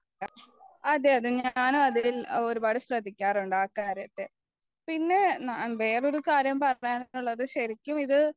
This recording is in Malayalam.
അതെ അതെ ഞാനും അതിൽ ഒരുപാട് ശ്രദ്ധിക്കാറുണ്ട് ആ കാര്യത്തിൽ പിന്നെ വേറൊരു കാര്യം പറയാനുള്ളത് ശെരിക്കും ഇത്